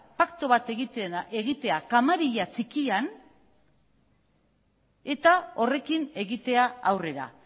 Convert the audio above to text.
paktu bat egitea kamarilla txikian eta horrekin egitea aurrera